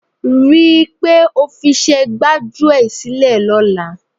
Rí i pé o fiṣẹ́ gbájúẹ̀ sílẹ̀ lọ́la.